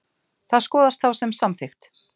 Það skoðast þá sem samþykkt.